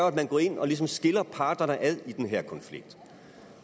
at man går ind og ligesom skiller parterne ad i den her konflikt